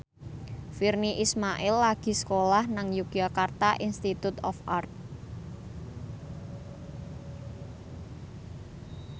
Virnie Ismail lagi sekolah nang Yogyakarta Institute of Art